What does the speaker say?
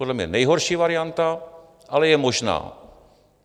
Podle mě nejhorší varianta, ale je možná.